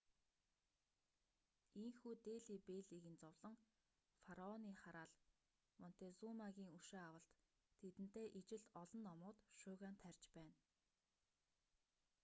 ийнхүү дели беллигийн зовлон фараоны хараал монтезумагийн өшөө авалт тэдэнтэй ижил олон номууд шуугиан тарьж байна